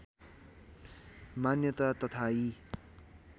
मान्यता तथा यी